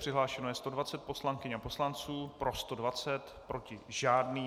Přihlášeno je 120 poslankyň a poslanců, pro 120, proti žádný.